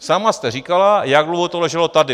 Sama jste říkala, jak dlouho to leželo tady.